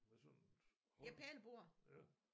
Med sådan et hånd ja